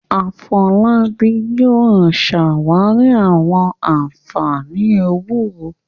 Afolábí yóò ṣàwárí àwọn ànfàní ewúro